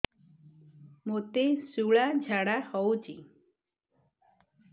ମୋତେ ଶୂଳା ଝାଡ଼ା ହଉଚି